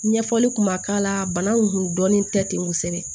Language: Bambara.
Ɲɛfɔli kun ma k'a la bana in kun dɔnnen tɛ ten kosɛbɛ